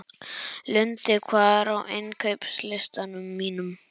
Lundi, hvað er á innkaupalistanum mínum?